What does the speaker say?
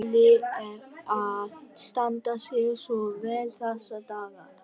Óli er að standa sig svo vel þessa dagana.